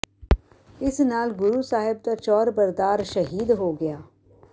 ਇਸ ਨਾਲ ਗੁਰੂ ਸਾਹਿਬ ਦਾ ਚੌਰਬਰਦਾਰ ਸ਼ਹੀਦ ਹੋ ਗਿਆ